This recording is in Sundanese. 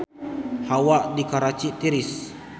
Hawa di Karachi tiris